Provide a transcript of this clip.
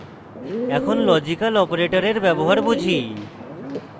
এখন লজিক্যাল অপারেটরের ব্যবহার বুঝি